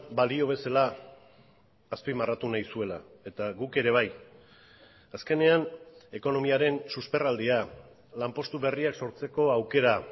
balio bezala azpimarratu nahi zuela eta guk ere bai azkenean ekonomiaren susperraldia lanpostu berriak sortzeko aukera